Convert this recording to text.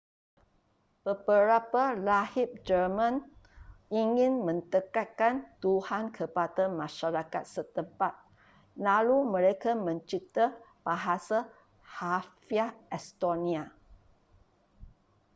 beberapa rahib jerman ingin mendekatkan tuhan kepada masyarakat setempat lalu mereka mencipta bahasa harfiah estonia